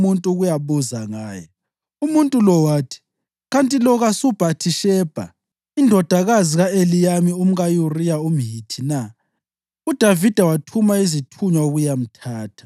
uDavida wasethuma umuntu ukuyabuza ngaye. Umuntu lowo wathi, “Kanti lo kasuBhathishebha, indodakazi ka-Eliyami umka-Uriya umHithi na?”